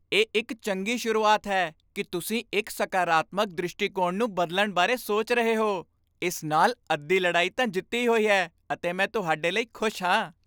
ਇਹ ਇੱਕ ਚੰਗੀ ਸ਼ੁਰੂਆਤ ਹੈ ਕਿ ਤੁਸੀਂ ਇੱਕ ਸਕਾਰਾਤਮਕ ਦ੍ਰਿਸ਼ਟੀਕੋਣ ਨੂੰ ਬਦਲਣ ਬਾਰੇ ਸੋਚ ਰਹੇ ਹੋ। ਇਸ ਨਾਲ ਅੱਧੀ ਲੜਾਈ ਤਾਂ ਜਿੱਤੀ ਹੋਈ ਹੈ ਅਤੇ ਮੈਂ ਤੁਹਾਡੇ ਲਈ ਖੁਸ਼ ਹਾਂ।